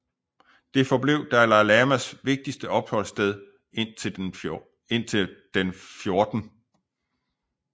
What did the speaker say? Det forblev Dalai Lamas vigtigste opholdssted indtil den 14